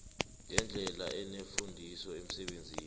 ngendlela enefundiso emsebenzini